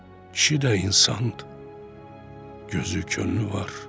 Kişi də insandır, gözü könlü var.